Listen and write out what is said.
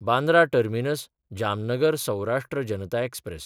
Bandra टर्मिनस–जामनगर Saurashtra Janata express